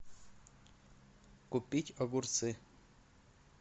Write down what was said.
купить огурцы